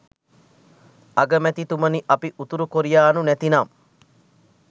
අගමැතිතුමනි අපි උතුරු කොරියානු නැතිනම්